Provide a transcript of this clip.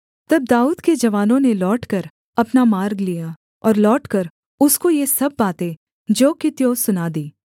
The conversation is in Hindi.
तब दाऊद के जवानों ने लौटकर अपना मार्ग लिया और लौटकर उसको ये सब बातें ज्यों की त्यों सुना दीं